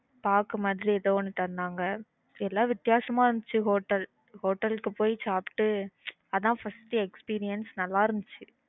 பாக்கு மாதிரி ஏதோ ஒன்னு தந்தாங்க எல்லாம் வித்தியாசமா இருந்துச்சு hotelhotel க்கு பொய் சாப்பிட்டு அதான் first experience நல்லா இருந்துச்சு